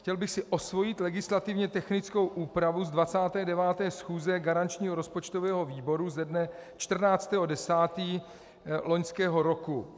Chtěl bych si osvojit legislativně technickou úpravu z 29. schůze garančního rozpočtového výboru ze dne 14. 10. loňského roku.